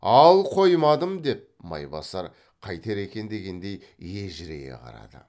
ал қоймадым деп майбасар қайтер екен дегендей ежірейе қарады